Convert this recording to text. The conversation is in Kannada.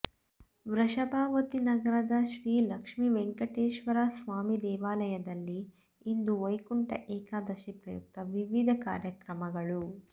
ವೃಷಭಾವತಿ ನಗರದ ಶ್ರೀಲಕ್ಷ್ಮಿವೆಂಕಟೇಶ್ವರಸ್ವಾಮಿ ದೇವಾಲಯದಲ್ಲಿ ಇಂದು ವೈಕುಂಠ ಏಕಾದಶಿ ಪ್ರಯುಕ್ತ ವಿವಿಧ ಕಾರ್ಯಕ್ರಮಗಳು